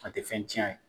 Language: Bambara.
A tɛ fɛn tiɲɛ a ye